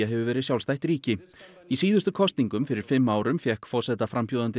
hefur verið sjálfstætt í síðustu kosningum fyrir fimm árum fékk forsetaframbjóðandi